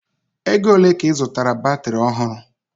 Ego ole ka ị zụtaara batiri ọhụrụ?